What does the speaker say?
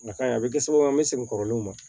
Na ka ɲi a bɛ kɛ sababu ye an bɛ segin kɔrɔlenw ma